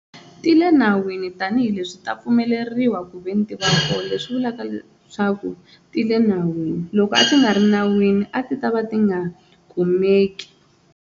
Ti le nawini tanihileswi ta pfumeleriwa ku ve ni tiva koho leswi vulaka leswaku ti le nawini loko a swi nga ri nawini a ti ta va ti nga kumeki.